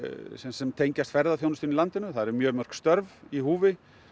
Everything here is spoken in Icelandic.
sem sem tengjast ferðaþjónustunni í landinu það eru mjög mörg störf í húfi